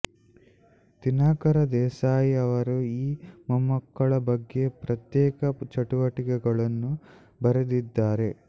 ದಿನಕರ ದೇಸಾಯಿ ಅವರು ಈ ಮೊಮ್ಮಕ್ಕಳ ಬಗ್ಗೆ ಪ್ರತ್ಯೇಕ ಚುಟುಕಗಳನ್ನು ಬರೆದಿದ್ದಾರೆ